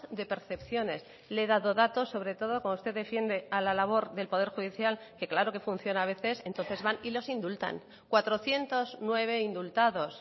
de percepciones le he dado datos sobre todo como usted defiende a la labor del poder judicial que claro que funciona a veces entonces van y los indultan cuatrocientos nueve indultados